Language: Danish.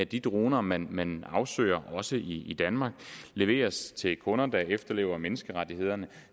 de droner man man afsøger også i danmark leveres til kunder der efterlever menneskerettighederne